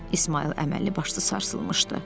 İsmayıl əməlli başlı sarsılmışdı.